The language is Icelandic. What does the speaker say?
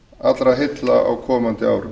allra heilla á komandi árum